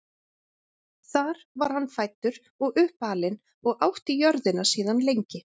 þar var hann fæddur og uppalinn og átti jörðina síðan lengi